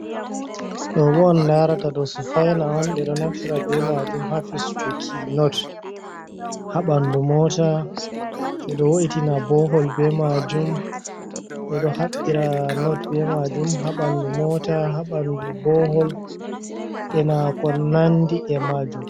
Ɗobo on larata ɗo sufaina on ɓe ɗo nafira be majum ha fistuki not ha ɓandu mota ɓe ɗo wo’itina bohol be majum ɓe ɗo haɓɓira not be majum ha ɓandu mota, ha ɓandu bohol, e na ko nandi e majum.